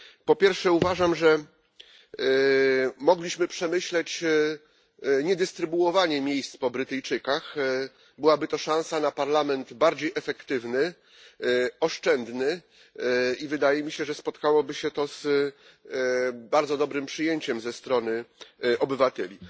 Po pierwsze uważam, że mogliśmy przemyśleć niedystrybuowanie miejsc po Brytyjczykach. Byłaby to szansa na Parlament bardziej efektywny, oszczędny i wydaje mi się, że spotkałoby się to z bardzo dobrym przyjęciem ze strony obywateli.